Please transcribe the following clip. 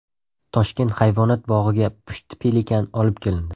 Toshkent hayvonot bog‘iga pushti pelikan olib kelindi.